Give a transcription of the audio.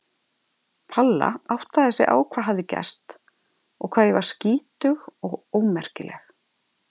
Palla áttaði sig á hvað hafði gerst og hvað ég var skítug og ómerkileg.